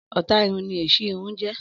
Ọ̀tá irun ni èṣí irun jẹ́.